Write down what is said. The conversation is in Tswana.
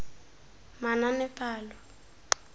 manaanepalo